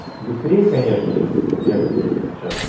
быстрее конечно же вот я как сейчас